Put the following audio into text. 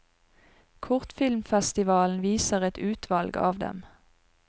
Kortfilmfestivalen viser et utvalg av dem.